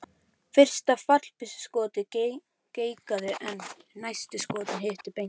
Fyrsta fallbyssuskotið geigaði en næstu skot hittu beint í mark.